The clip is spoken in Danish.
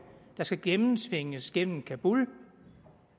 der skal gennemtvinges gennem kabul